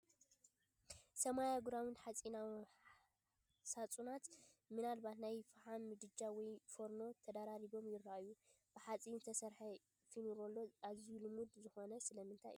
ሰማያውን ግራውንድ ሓጺናዊ ሳጹናት (ምናልባት ናይ ፈሓም ምድጃ ወይ ፎርኖ) ተደራሪቦም ይረኣዩ። ብሓጺን እተሰርሐ ፎርኔሎ ኣዝዩ ልሙድ ዝዀነ ስለምንታይ እዩ፧